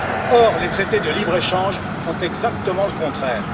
Or, les traités de libre échange font exactement le contraire.